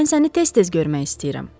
Mən səni tez-tez görmək istəyirəm.